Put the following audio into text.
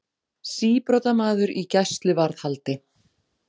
Síbrotamaður í gæsluvarðhaldi